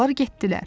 Onlar getdilər.